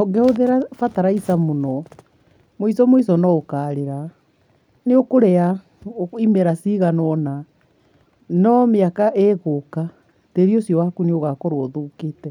Ũngĩhũthĩra bataraitha mũno mũico mũico no ũkarĩra. Nĩ ũkũrĩa imera cigana ũna no mĩaka ĩgũka tĩri ũcio waku nĩ ũgakorwo ũthũkĩte